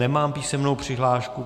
Nemám písemnou přihlášku.